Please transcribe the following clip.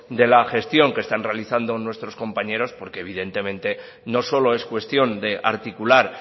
de la gestión que está realizando nuestros compañeros porque evidentemente no solo es cuestión de articular